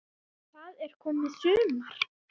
Það er komið sumar.